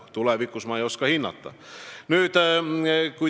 Tulevikku ma ei oska hinnata.